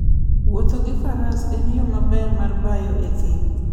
Wuotho gi faras en yo maber mar bayo e thim.